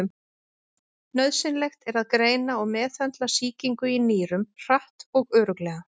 Nauðsynlegt er að greina og meðhöndla sýkingu í nýrum hratt og örugglega.